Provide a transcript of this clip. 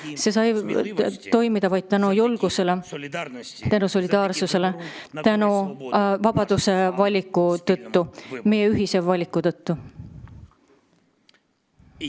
See sai toimuda vaid tänu julgusele ja tänu solidaarsusele, vabaduse kasuks valimise tõttu, meie ühise valiku tõttu.